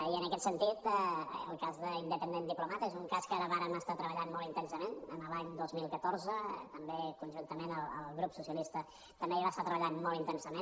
i en aquest sentit el cas d’independent diplomat és una cas que vàrem estar treballant molt intensament l’any dos mil catorze també conjuntament amb el grup socialista també hi va estar treballant molt intensament